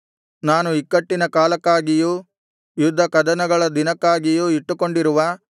ನಾನು ಇಕ್ಕಟ್ಟಿನ ಕಾಲಕ್ಕಾಗಿಯೂ ಯುದ್ಧಕದನಗಳ ದಿನಕ್ಕಾಗಿಯೂ ಇಟ್ಟುಕೊಂಡಿರುವ